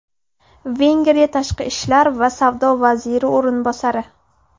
Vengriya Tashqi ishlar va savdo vaziri o‘rinbosari.